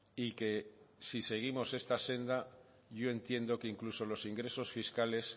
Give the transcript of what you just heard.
y que si seguimos esta senda yo entiendo que incluso los ingresos fiscales